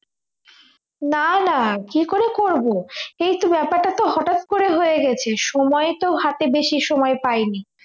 না না কি করে করবো এইতো ব্যাপারটাতো হঠাৎ করে হয়ে গেছে সময় তো হাতে বেশি সময় পাইনি